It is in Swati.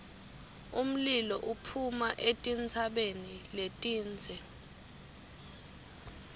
umlilo uphuma etintsabeni letindze